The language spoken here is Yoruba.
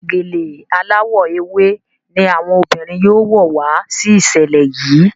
Gèlè aláwò ewé ní àwọn obìrin yóò wò wá sí iṣẹlẹ yi.